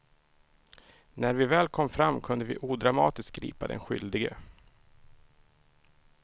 När vi väl kom fram kunde vi odramatiskt gripa den skyldige.